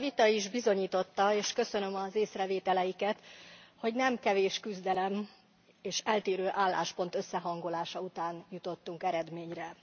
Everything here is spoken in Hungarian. Ez a vita is bizonyította, és köszönöm az észrevételeiket, hogy nem kevés küzdelem és eltérő álláspont összehangolása után jutottunk eredményre.